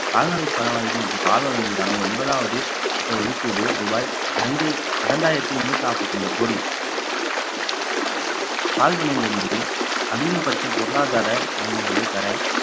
கால்நடை பராமரிப்பு மற்றும் பால்வளம் மீதான ஒன்பதாவது இட ஒதுக்கீடு ரூபாய் இரண்டு~ இரண்டாயிரத்தி முன்னூத்தி நாற்பத்தி ஐந்து கோடி பால்பனையிலிருந்து அதிகபட்ச பொருளாதார நன்மைகளை பெற